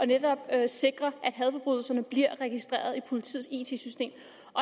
netop at sikre at hadforbrydelserne bliver registreret i politiets it system